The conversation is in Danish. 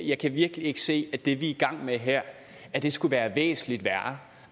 jeg kan virkelig ikke se at det vi er i gang med her skulle være væsentlig værre